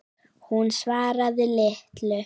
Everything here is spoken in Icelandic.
Hún svaraði litlu.